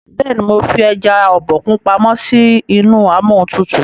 béèni mọ fí eja Obokun pàmò sí inú Amóhuntutù.